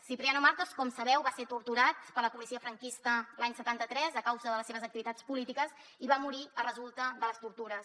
cipriano martos com sabeu va ser torturat per la policia franquista l’any setanta tres a causa de les seves activitats polítiques i va morir de resultes de les tortures